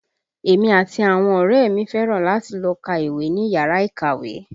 Èmi àti àwọn ọ̀rẹ́ ẹ mi fẹ́ràn láti máa lọ ká ìwé ní yàrá ìkàwé